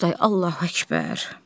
Oqtay, Allahu Əkbər.